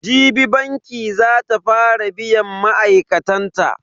Jibi banki za ta fara biyan ma'aikatan ta.